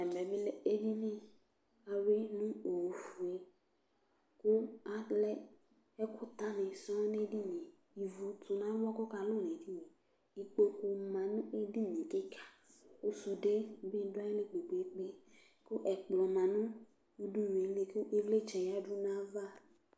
ɛmɛ bi lɛ edini k'awi no ofue kò alɛ ɛkò ta ni sɔŋ n'edini yɛ ivu to n'ava k'ɔka lò n'edini yɛ ikpoku ma no edini yɛ keka kò sude bi do ayili kpe kpe kò ɛkplɔ ma no udunu li kò ivlitsɛ ya du n'ava